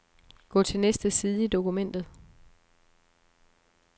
Gå til næste side i dokumentet.